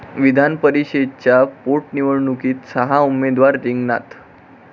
विधानपरिषदेच्या पोटनिवडणुकीत सहा उमेदवार रिंगणात